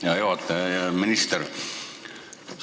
Hea juhataja ja hea minister!